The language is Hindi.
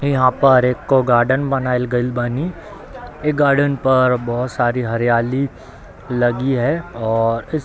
यहाँ पर एको गार्डन बनाएल गएल बानी | इ गार्डन पर बहुत सारी हरियाली लगी है और इस --